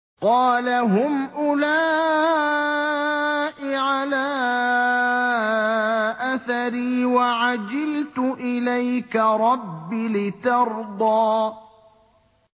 قَالَ هُمْ أُولَاءِ عَلَىٰ أَثَرِي وَعَجِلْتُ إِلَيْكَ رَبِّ لِتَرْضَىٰ